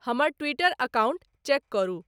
हमर Twitter account check करू